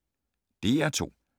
DR2